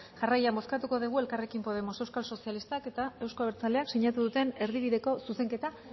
jarraian bozkatuko dugu elkarrekin podemos euskal sozialistak eta euzko abertzaleak sinatu duten erdibideko zuzenketa